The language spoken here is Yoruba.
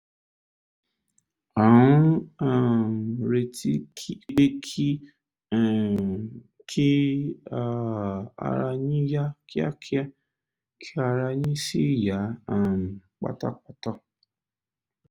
à ń um retí pé kí um kí um ara yín yá kíákíá kí ara yín sì yá um pátápátá